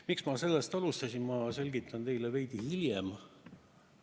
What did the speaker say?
Miks ma sellest alustasin, selgitan teile veidi hiljem.